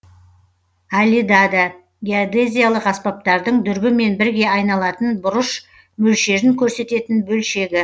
алидада геодезиялық аспаптардың дүрбімен бірге айналатын бұрыш мөлшерін көрсететін бөлшегі